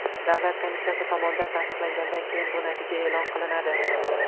Davlat komissiyasi tomonidan tasdiqlangandan keyin bu natija e’lon qilinadi.